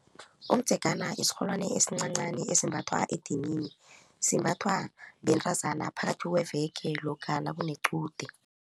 Umdzegana isirholwani esincancani esimbathwa edinini. Simbathwa bentazana phakathi kweveke lokha nakunequde.